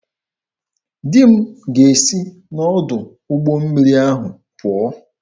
Di m ga-esi n'ọdụ ụgbọ mmiri ahụ pụọ.